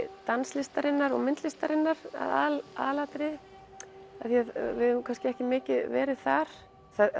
danslistarinnar og myndlistarinnar að aðalatriði því við höfum ekki mikið verið þar